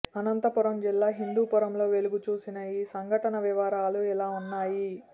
అనంతపురం జిల్లా హిందూపురంలో వెలుగుచూసిన ఈ సంఘటన వివరాలు ఇలా ఉన్నాయి